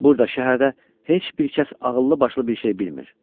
Burda şəhərdə heç bir kəs ağıllı başlı bir şey bilmir.